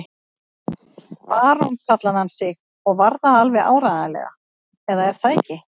Barón kallaði hann sig og var það alveg áreiðanlega, eða er það ekki?